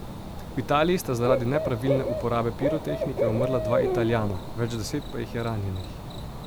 V Italiji sta zaradi nepravilne uporabe pirotehnike umrla dva Italijana, več deset pa jih je ranjenih.